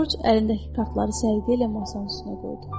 Corc əlindəki kartları səliqəylə masanın üstünə qoydu.